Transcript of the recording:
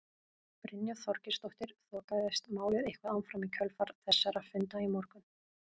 Brynja Þorgeirsdóttir: Þokaðist málið eitthvað áfram í kjölfar þessara funda í morgun?